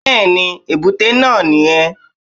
Bẹ́ẹ̀ni èbúté náà ní yẹn